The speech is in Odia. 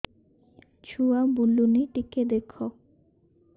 ଛୁଆ ବୁଲୁନି ଟିକେ ଦେଖ